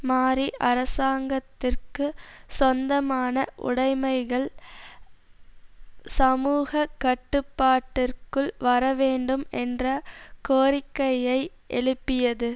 மாறி அரசாங்கத்திற்கு சொந்தமான உடைமைகள் சமூக கட்டுப்பாட்டிற்குள் வரவேண்டும் என்ற கோரிக்கையை எழுப்பியது